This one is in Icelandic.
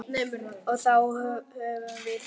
Og þá höfum við það.